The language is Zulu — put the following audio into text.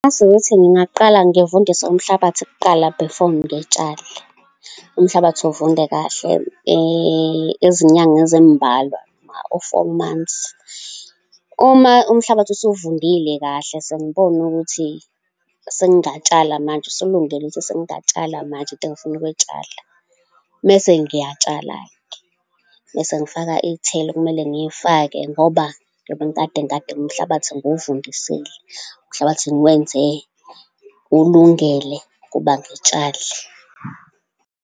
Ukuthi ngingaqala ngifundise umhlabathi kuqala before ngitshale. Umhlabathi uvunde kahle izinyanga ezimbalwa, u-four months. Uma umhlabathi usuvundile kahle, sengibona ukuthi sengingatshala manje, usulungele ukuthi sengingatshala manje nto engifuna ukuyitshala, mese ngiyatshala-ke. Bese ngifaka iy'thelo okumele ngiy'fake, ngoba ngiyobe ngikade nomhlabathi ngiwuvundisile. Umhlabathi ngiwenze ulungele ukuba ngitshale.